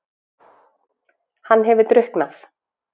Hann hefur drukknað!